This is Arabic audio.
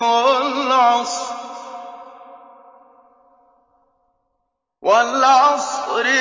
وَالْعَصْرِ